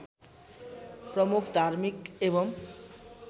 प्रमुख धार्मिक एवं